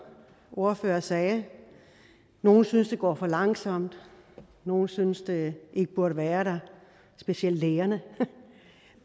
ordfører sagde nogle synes det går for langsomt nogle synes det ikke burde være der specielt lægerne